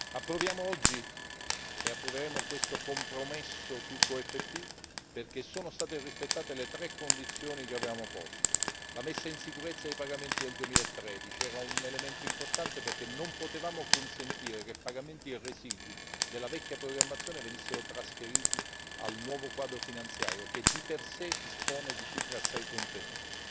Approveremo oggi questo compromesso sul QFP perché sono state rispettate le tre condizioni che avevamo posto 1 la messa in sicurezza dei pagamenti del 2013, elemento importante perché non potevamo consentire che pagamenti residui della vecchia programmazione venissero trasferiti al nuovo quadro finanziario, che di per sé dispone di cifre assai contenute